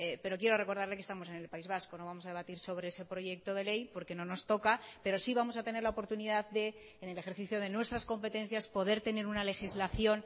pero quiero recordarle que estamos en el país vasco no vamos a debatir sobre ese proyecto de ley porque no nos toca pero sí vamos a tener la oportunidad de en el ejercicio de nuestras competencias poder tener una legislación